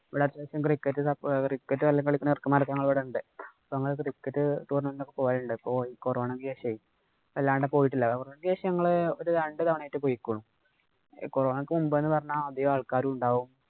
ഇവിടെ അത്യാവശ്യം cricket വല്ലോം കളിക്കാവുന്നവര്‍ക്ക് ഇവിടെ ഉണ്ട്. അങ്ങനെ cricket tournament ഒക്കെ പോകലുണ്ട്. ഇപ്പൊ ഈ കൊറോണയ്ക്ക് ശേഷമേ അല്ലാണ്ട് പോയിട്ടില്ല. Vaccation ഉ ഞങ്ങള് ഒരു രണ്ടുതവണയായിട്ട് പൊയ്ക്കണു. കൊറോണയ്ക്ക് മുമ്പെന്നു പറഞ്ഞാല്‍ അധികം ആള്‍ക്കാരും ഉണ്ടാവും.